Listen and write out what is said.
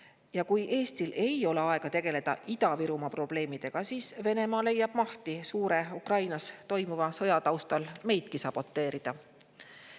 Ja kui Eestil ei ole aega tegeleda Ida-Virumaa probleemidega, siis Venemaa leiab mahti suure Ukrainas toimuva sõja taustal meidki saboteerida.